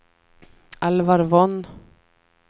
Alvar Von